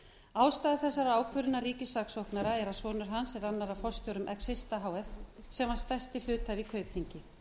ástæða þessarar ákvörðunar ríkissaksóknara er að sonur hans er annar af forstjórum exista h f sem var stærstur hluthafi í kaupþingi